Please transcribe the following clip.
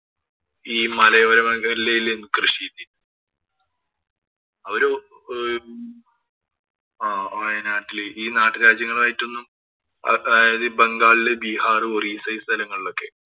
ഈ മലയോര മേഖലയിലായിരുന്നു കൃഷി ചെയ്തിരുന്നത്. അവര് ആഹ് വയനാട്ടില് ഈ നാട്ടുരാജ്യങ്ങളുമായി ഒന്നും അതായത് ഈ ബംഗാളില്, ബീഹാര്‍, ഒറീസ ഈ സ്ഥലങ്ങളിലൊക്കെ